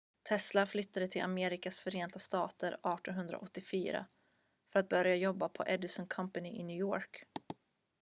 tesla flyttade till amerikas förenta stater 1884 för att börja jobba på edison company i new york